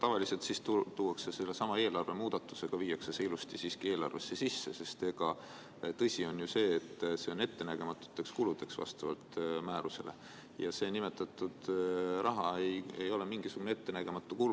Tavaliselt tullakse siis välja eelarve muudatusega ja viiakse see ilusti eelarvesse sisse, sest tõsi on ju see, et reserv on vastavalt määrusele mõeldud ettenägematuteks kuludeks, aga nimetatud raha ei ole mingisugune ettenägematu kulu.